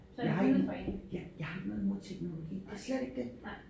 Jeg har ikke ja jeg har ikke noget imod teknologi det er slet ikke det